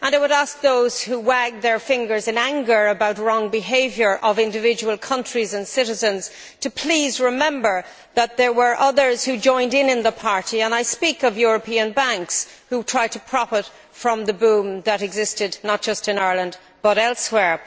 I would ask those who wag their fingers in anger about incorrect behaviour by individual countries and citizens to please remember that there were others who also joined in at the party I speak of European banks, who tried to profit from the boom that existed not just in Ireland, but elsewhere.